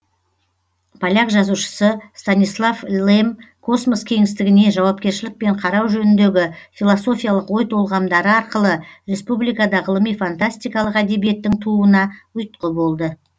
поляк жазушысы станислав лем космос кеңістігіне жауапкершілікпен қарау жөніндегі философиялық ой толғамдары арқылы республикада ғылыми фантастикалық әдебиеттің тууына ұйтқы болды